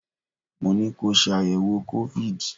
Mo ní ko ṣe àyẹ̀wò COVID!